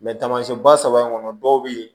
taamasiyɛnba saba in kɔnɔ dɔw bɛ yen